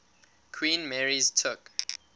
queen mary's took